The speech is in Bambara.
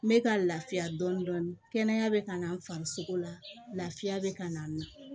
N bɛ ka lafiya dɔɔnin dɔɔnin kɛnɛya bɛ ka na n farisogo lafiya bɛ ka na